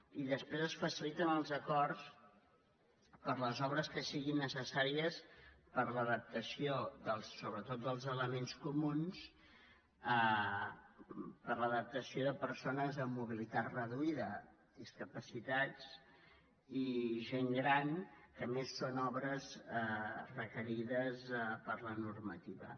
i després es faciliten els acords per a les obres que siguin necessàries per a l’adaptació sobretot dels elements comuns per a l’adaptació a persones amb mobilitat reduïda discapacitats i gent gran que a més són obres requerides per la normativa